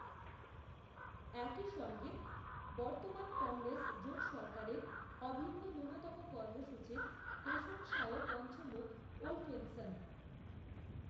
একইসঙ্গে বর্তমান কংগ্রেস, জোট সরকারের অভিন্ন ন্যূনতম কর্মসূচির প্রশংসায়ও, পঞ্চমুখ, ওলফেনসন